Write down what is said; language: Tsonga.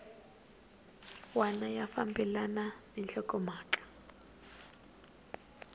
wana ya fambelana na nhlokomhaka